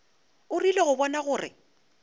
o rile go bona gore